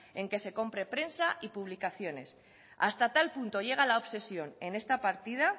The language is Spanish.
en que se compre prensa y publicaciones hasta tal punto llega la obsesión en esta partida